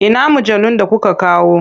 Ina mujallun da kuka kawo?